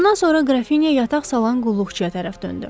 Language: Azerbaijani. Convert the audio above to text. Bundan sonra Grafinya yataq salan qulluqçuya tərəf döndü.